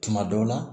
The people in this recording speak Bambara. Tuma dɔw la